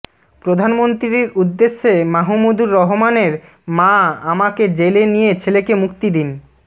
প্রধানমন্ত্রীর উদ্দেশে মাহমুদুর রহমানের মা আমাকে জেলে নিয়ে ছেলেকে মুক্তি দিন